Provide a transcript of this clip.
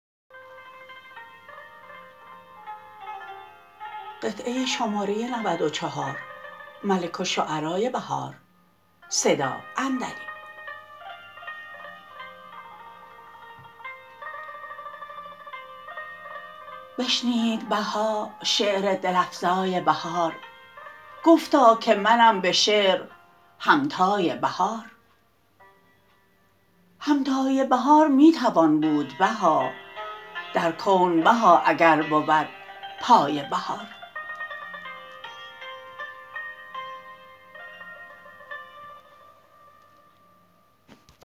بشنید بها شعر دل افزای بهار گفتاکه منم به شعرهمتای بهار همتای بهار می توان بود بها درکون بها اگر بود پای بهار